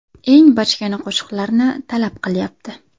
Eng bachkana qo‘shiqlarni talab qilyapti.